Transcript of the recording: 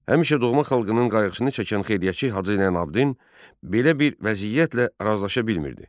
Həmişə doğma xalqının qayğısını çəkən xeyriyyətçi Hacı Zeynalabdin belə bir vəziyyətlə razılaşa bilmirdi.